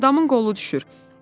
Adamın qolu düşür.